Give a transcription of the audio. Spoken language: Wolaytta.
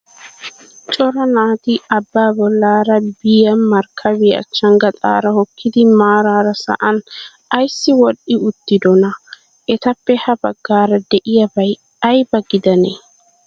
Cora naatii abbaa bollaara biyat markkabiya achchan gaxaara hokkidi maaraara sa'an ayissi wodhdhi uttidonaa? Etappe ha baggaara diyaabay ayiba gidanee?